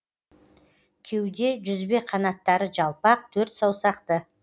кеуде жүзбе канаттары жалпақ төртсаусақты